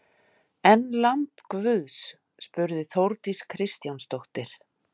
En lamb guðs? spurði Þórdís Kristjánsdóttir.